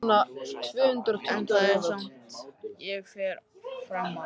Eitt er það samt sem ég fer fram á!